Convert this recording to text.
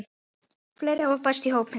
Fleiri hafa bæst í hópinn.